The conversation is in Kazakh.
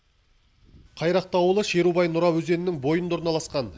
қайрақты ауылы шерубай нұра өзенінің бойында орналасқан